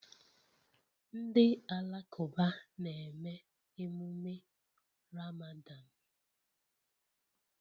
Ndị Alakụba na-eme emume Ramadan